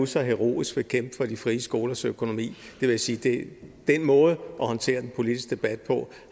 så heroisk for de frie skolers økonomi jeg vil sige at den måde at håndtere den politiske debat på